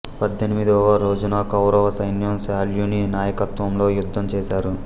పద్దెనిమిదవ రోజున కౌరవ సైన్యం శల్యుని నాయకత్వంలో యుద్ధం చేసారు